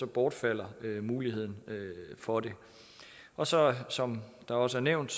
bortfalder muligheden for det og så som der også er nævnt